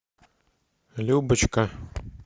любочка